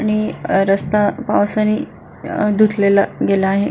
आणि रस्ता पावसानी धुतलेला गेला आहे.